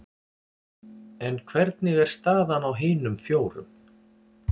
En hvernig er staðan á hinum fjórum?